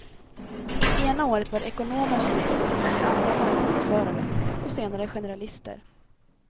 Ena året var det ekonomer som gällde, det andra marknadsförare och senare generalister.